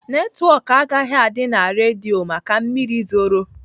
Netwọk agaghị adị na redio maka mmiri zoro.